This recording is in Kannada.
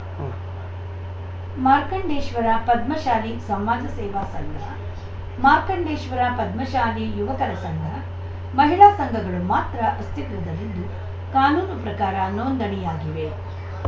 ಉಂ ಮಾರ್ಕಂಡೇಶ್ವರ ಪದ್ಮಶಾಲಿ ಸಮಾಜ ಸೇವಾ ಸಂಘ ಮಾರ್ಕಂಡೇಶ್ವರ ಪದ್ಮಶಾಲಿ ಯುವಕರ ಸಂಘ ಮಹಿಳಾ ಸಂಘಗಳು ಮಾತ್ರ ಅಸ್ತಿತ್ವದಲ್ಲಿದ್ದು ಕಾನೂನು ಪ್ರಕಾರ ನೋಂದಣಿಯಾಗಿವೆ